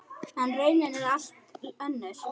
En raunin er allt önnur.